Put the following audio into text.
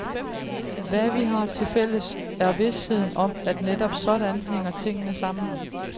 Hvad vi har tilfælles, er visheden om, at netop sådan hænger tingene sammen.